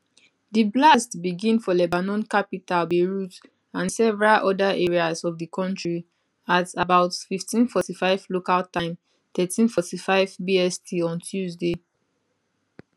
di blasts begin for lebanon capital beirut and several oda areas of di country at about 1545 local time 1345 bst on tuesday